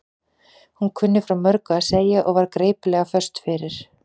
Hún kunni frá mörgu að segja og var geipilega föst fyrir.